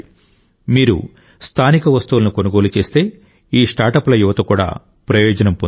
మీరు స్థానిక వస్తువులను కొనుగోలు చేస్తే ఈ స్టార్టప్ల యువత కూడా ప్రయోజనం పొందుతుంది